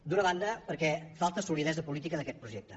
d’una banda perquè falta solidesa política d’aquest projecte